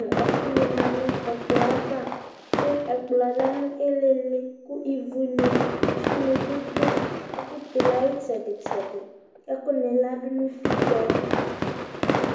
nʊ ɔfɩnɩ lɛ nʊ ɛkplɔ yɛ ava kʊ ɛkplɔ yɛ lɛ nʊ ɩlɩ, kʊ ivunɩ, itsunɩ bɩ dʊ ɛfʊ tɛ ulu yɛ ayʊ itsɛdɩ itsɛdɩ, ɛkʊnɩ ladʊ nʊ utikpǝ yɛ